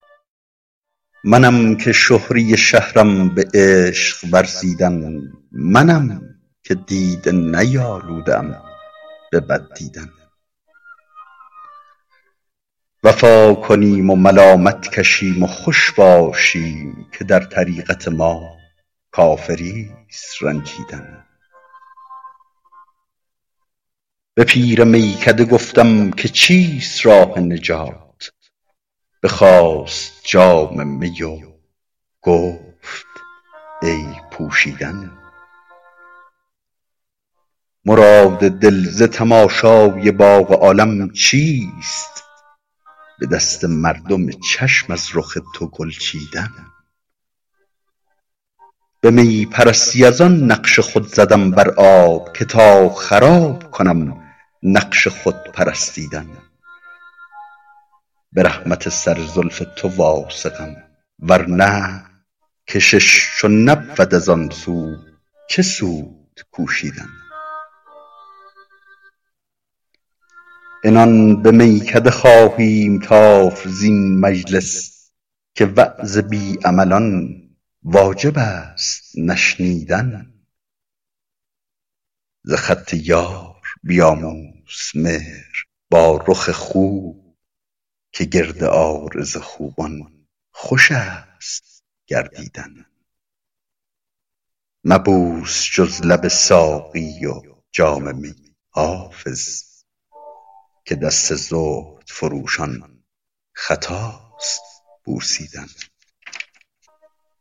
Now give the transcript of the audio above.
منم که شهره شهرم به عشق ورزیدن منم که دیده نیالوده ام به بد دیدن وفا کنیم و ملامت کشیم و خوش باشیم که در طریقت ما کافریست رنجیدن به پیر میکده گفتم که چیست راه نجات بخواست جام می و گفت عیب پوشیدن مراد دل ز تماشای باغ عالم چیست به دست مردم چشم از رخ تو گل چیدن به می پرستی از آن نقش خود زدم بر آب که تا خراب کنم نقش خود پرستیدن به رحمت سر زلف تو واثقم ورنه کشش چو نبود از آن سو چه سود کوشیدن عنان به میکده خواهیم تافت زین مجلس که وعظ بی عملان واجب است نشنیدن ز خط یار بیاموز مهر با رخ خوب که گرد عارض خوبان خوش است گردیدن مبوس جز لب ساقی و جام می حافظ که دست زهد فروشان خطاست بوسیدن